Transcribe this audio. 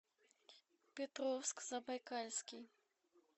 петровск забайкальский